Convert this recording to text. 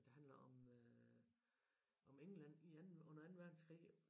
Der handler om øh om England i anden under anden verdenskrig